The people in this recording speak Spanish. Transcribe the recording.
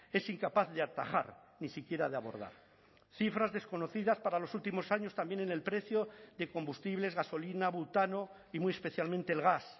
es incapaz de atajar ni siquiera de abordar cifras desconocidas para los últimos años también en el precio de combustibles gasolina butano y muy especialmente el gas